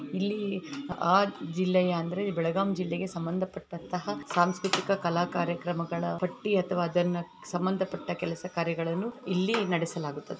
ಇಲ್ಲಿ ಆ ಜಿಲ್ಲೆಯ ಅಂದರೆ ಬೆಳಗಾವಿ ಜಿಲ್ಲೆಗೆ ಸಂಬಂಧಪಟ್ಟಂತಹ ಸಾಂಸ್ಕೃತಿಕ ಕಲ ಕಾರ್ಯಕ್ರಮಗಳ ಪಟ್ಟಿ ಅಥವಾ ಅದಕ್ಕೆ ಸಂಬಂಧಪಟ್ಟ ಕೆಲಸ ಕಾರ್ಯಗಳನ್ನು ಇಲ್ಲಿ ನಡೆಸಲಾಗುತ್ತದೆ